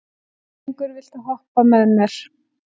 Bæringur, viltu hoppa með mér?